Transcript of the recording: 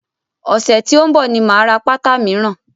Ọ̀sẹ̀ tí ó ń bọ̀ ni máa ra pátá míràn.